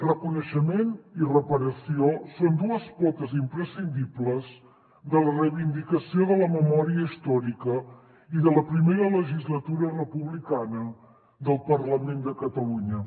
reconeixement i reparació són dues potes imprescindibles de la reivindicació de la memòria històrica i de la primera legislatura republicana del parlament de catalunya